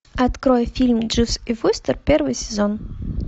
открой фильм дживс и вустер первый сезон